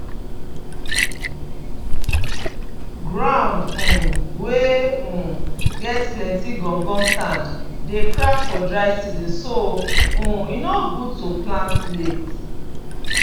ground um wey um get plenty gum gum sand dey crack for dry season so um e no good to plant late